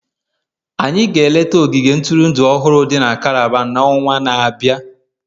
anyị ga-eleta ogige ntụrụndụ ọhụrụ dị na Calabar n'ọnwa na-abịa.